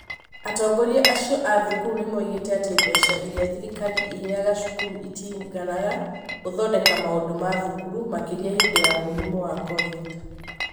Atongoria acio a thukuru nĩ moigĩte atĩ mbeca iria thirikari ĩheaga cukuru itiiganaga gũthondeka maũndũ ma thukuru, makĩria hĩndĩ ya mũrimũ wa cobindi.